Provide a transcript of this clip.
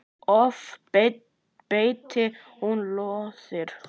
Oft beitti hún lóðir.